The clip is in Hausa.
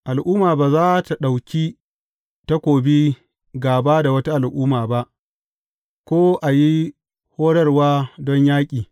Al’umma ba za tă ɗauki takobi gāba da wata al’umma ba, ko a yi horarwa don yaƙi.